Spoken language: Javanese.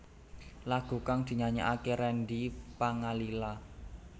Lagu kang dinyanyékaké Randy Pangalila